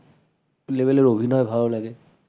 level এর অভিনয় ভাল লাগে ।